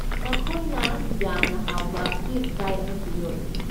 ꯃꯈꯣꯏꯅ ꯌꯥꯝꯅ ꯍꯥꯎꯕ ꯐꯤꯁ ꯐ꯭ꯔꯥꯏ ꯑꯃꯁꯨ ꯌꯣꯜꯂꯤ꯫